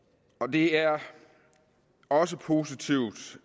det er også positivt